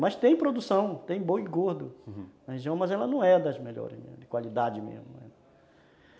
Mas tem produção, tem boi gordo na região, mas ela não é das melhores, de qualidade mesmo.